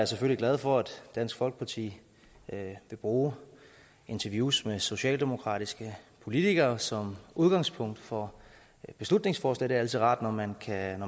selvfølgelig glad for at dansk folkeparti vil bruge interviews med socialdemokratiske politikere som udgangspunkt for beslutningsforslaget altid rart når man kan